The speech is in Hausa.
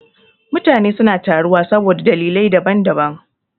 Mutane suna taruwa saboda dalilai da daban daban.